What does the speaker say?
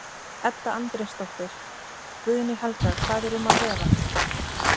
Edda Andrésdóttir: Guðný Helga hvað er um að vera?